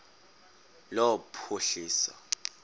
lophuhliso